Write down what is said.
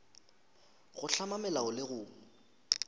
go hlama melao le go